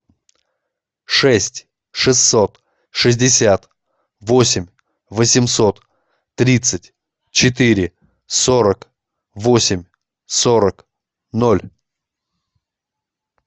шесть шестьсот шестьдесят восемь восемьсот тридцать четыре сорок восемь сорок ноль